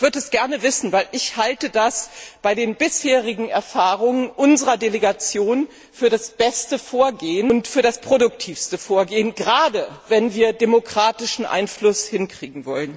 Ich würde das gerne wissen, denn ich halte das bei den bisherigen Erfahrungen unserer Delegation für das beste und das produktivste Vorgehen, gerade wenn wir demokratischen Einfluss gewinnen wollen.